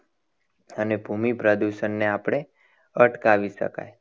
અને ભૂમિ પ્રદૂષણને આપણે અટકાવી શકાય.